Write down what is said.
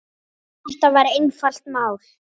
Þetta var einfalt mál.